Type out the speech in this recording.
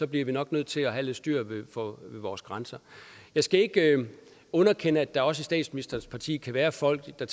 bliver vi nok nødt til at have lidt styr på vores grænser jeg skal ikke underkende at der også i statsministerens parti kan være folk der